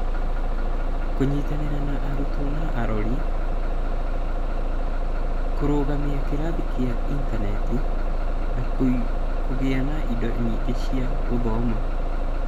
Kũnyitanĩra na arutwo na arori, kũrũgamia kĩrathi kĩa intaneti, na kũgĩa na indo nyingĩ cia gũthoma.